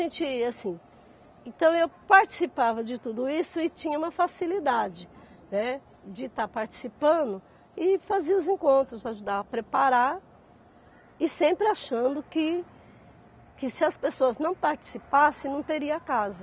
assim, então, eu participava de tudo isso e tinha uma facilidade, né, de estar participando e fazer os encontros, ajudar a preparar e sempre achando que que se as pessoas não participassem, não teria casa.